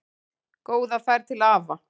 Góða ferð til afa.